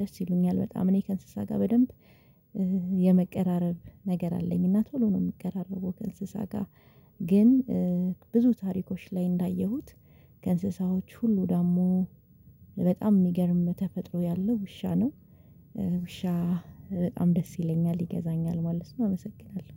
ደስ ይሉኛል በጣም እኔ ከእንስሳ ጋር በደንብ የመቀራረብ ነገር አለኝ። እና ቶሎ ነው የሚቀራረበው ከእንስሳ ጋር። ግን ብዙ ታሪኮች ላይ እንዳየሁት ከእንስሳዎች ሁሉ ደግሞ በጣም የሚገርም ተፈጥሮ ያለው ውሻ ነው። ውሻ በጣም ደስ ይለኛል ይገዛኛል ማለት ነው አመሰግናለሁ።